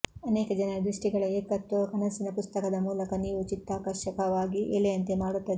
ಅನೇಕ ಜನರ ದೃಷ್ಟಿಗಳ ಏಕತ್ವವು ಕನಸಿನ ಪುಸ್ತಕದ ಮೂಲಕ ನೀವು ಚಿತ್ತಾಕರ್ಷಕವಾಗಿ ಎಲೆಯಂತೆ ಮಾಡುತ್ತದೆ